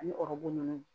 Ani nunnu